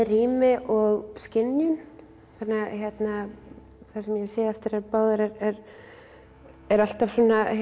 rými og skynjun þannig að það sem ég hef séð eftir þær báðar er er alltaf